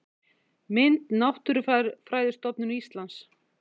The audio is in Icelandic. Mynd: Náttúrufræðistofnun Íslands